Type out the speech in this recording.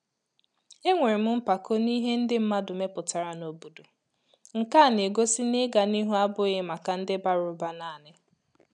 Enwerem mpako n’ihe ndị mmadụ mepụtara n'obodo nke-a n'egosi ná ịga n’ihu abụghị màkà ndị bara ụba naanị